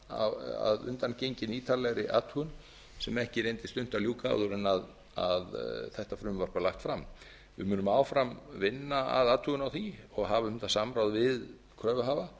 nema að undangenginni ítarlegri athugun sem ekki reyndist unnt að ljúka áður en þetta frumvarp var lagt fram við munum áfram vinna að athugun á því og hafa um það samráð við kröfuhafa